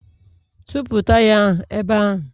Tụpụ taya ahụ ebe ahụ!